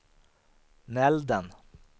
Nälden